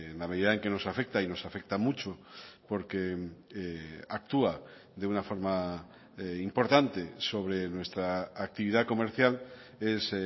la medida en que nos afecta y nos afecta mucho porque actúa de una forma importante sobre nuestra actividad comercial es